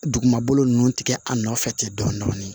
Dugumakolo ninnu tigɛ a nɔfɛ ten dɔɔnin